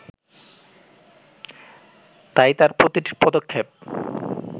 তাই তার প্রতিটি পদক্ষেপ